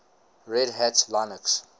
red hat linux